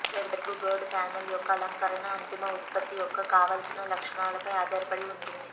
ఫెర్బ్ board panel యొక్క అలంకరణ అంతిమ ఉత్పత్తి యొక్క కావలసిన లక్షణాలపై ఆధారపడి ఉంటుంది